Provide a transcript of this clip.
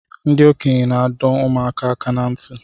Ndi okenye na-ado ụmụaka aka na nti